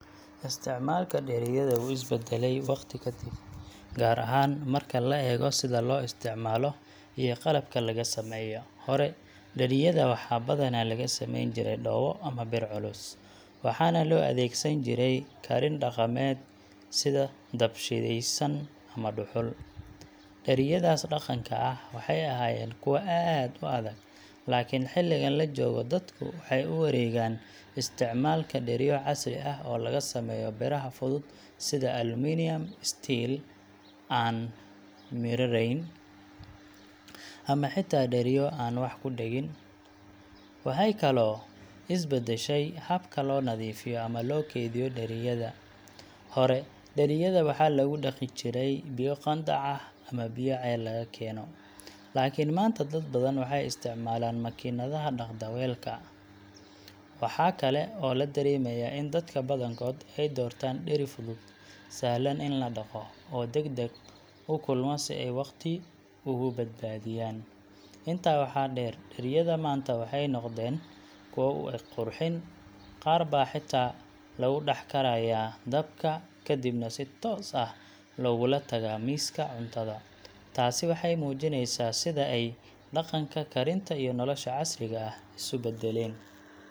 Isticmaalka dheriyada wuu is beddelay waqti ka dib, gaar ahaan marka la eego sida loo isticmaalo iyo qalabka laga sameeyo. Hore, dheriyada waxaa badanaa laga sameyn jiray dhoobo ama bir culus, waxaana loo adeegsan jiray karin dhaqameed sida dab-shidaysan ama dhuxul. Dheriyadaas dhaqanka ah waxay ahaayeen kuwo aad u adag, laakiin xilligan la joogo dadku waxay u wareegeen isticmaalka dheriyo casri ah oo laga sameeyo biraha fudud sida aluminium, steel aan miridhayn , ama xitaa dheriyo aan wax ku dhegin . Waxay kaloo is beddeshay habka loo nadiifiyo ama loo kaydiyo dheriyada. Hore, dheriyada waxaa lagu dhaqi jiray biyo qandac ah ama biyo ceel laga keeno, laakin maanta, dad badan waxay isticmaalaan makiinadaha dhaqda weelka (dishwasher). Waxa kale oo la dareemayaa in dadka badankood ay doortaan dheri fudud, sahlan in la dhaqo, oo deg deg u kulma si ay waqti ugu badbaadiyaan. Intaa waxaa dheer, dheriyada maanta waxay noqdeen kuwo u eg qurxin qaar baa xitaa lagu dhex karayaa dabka kadibna si toos ah loogula tagaa miiska cuntada. Taasi waxay muujineysaa sida ay dhaqanka karinta iyo nolosha casriga ah isu beddeleen.